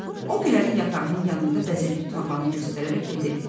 O Gülərin yatağının yanında bəzəkli torbanı göstərərək dedi: